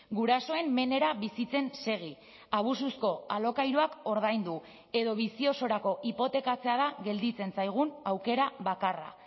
gurasoen menera bizitzen segi abusuzko alokairuak ordaindu edo bizi osorako hipotekatzea da gelditzen zaigun aukera bakarra